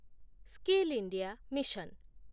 skill India mission